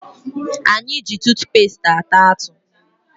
Anyị ji tutupesti ata atụ